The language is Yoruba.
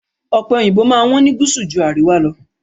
Ọ̀pe òyìnbó máa ń wọ́n ní gúúsù ju àríwá lọ.